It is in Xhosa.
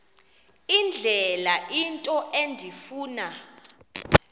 indlela into endifuna